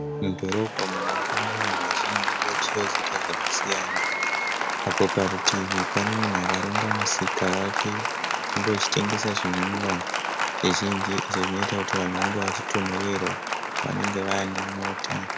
Mudhorobha umo munofamba vanhu vazhinji vachiuya kuzoita zvakasiyana. Apo parutivi pane munhu akaronga musika wake unengeuchitengesa zvinwiwa zvizhinji zvinoita kuti vanhu vange vachitonhererwa apo vanenge vane nyota.